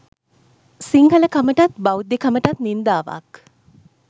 සිංහල කමටත් බෞද්ධකමටත් නින්දාවක්